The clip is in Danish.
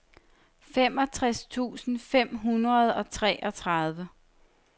femogtres tusind fem hundrede og treogtredive